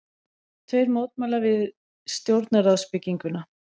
Tveir mótmæla við stjórnarráðsbygginguna